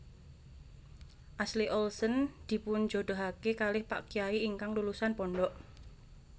Ashley Olsen dipunjodohake kalih pak kyai ingkang lulusan pondok